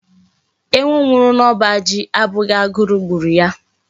Ewu nwuru n'oba ji abughi agu gburu ya